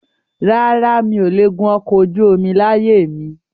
Rárá, mi ò le gùn ọkọ̀ ojú omi láyé mi